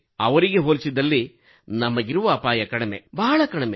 ಅವರಿಗೆ ಹೋಲಿಸಿದಲ್ಲಿ ನಮಗಿರುವ ಅಪಾಯ ಕಡಿಮೆ ಬಹಳವೇ ಕಡಿಮೆ